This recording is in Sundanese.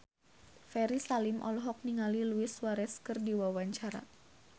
Ferry Salim olohok ningali Luis Suarez keur diwawancara